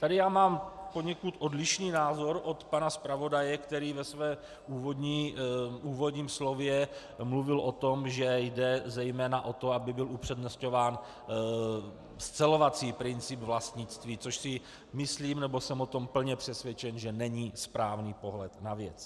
Tady já mám poněkud odlišný názor od pana zpravodaje, který ve svém úvodním slově mluvil o tom, že jde zejména o to, aby byl upřednostňován scelovací princip vlastnictví, což si myslím, nebo jsem o tom plně přesvědčen, že není správný pohled na věc.